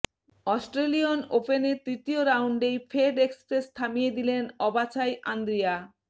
Australian ওপেনের তৃতীয় রাউন্ডেই ফেড এক্সপ্রেস থামিয়ে দিলেন অবাছাই আন্দ্রিয়া